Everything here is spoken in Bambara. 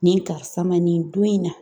Nin karisa ma nin don in na